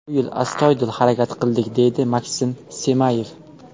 Bu yil astoydil harakat qildik, deydi Maksim Semayev.